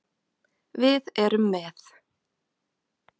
Við erum með